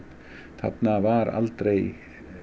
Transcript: þarna var aldrei